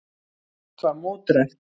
Allt var mótdrægt.